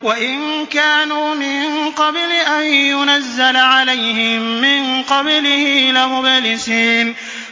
وَإِن كَانُوا مِن قَبْلِ أَن يُنَزَّلَ عَلَيْهِم مِّن قَبْلِهِ لَمُبْلِسِينَ